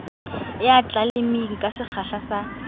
ya tleleime ka sekgahla sa